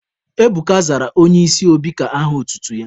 Ebuka zara Onye isi obi ka aha otutu ya.